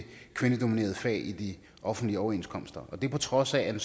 kvindedominerede fag i de offentlige overenskomster og det på trods af at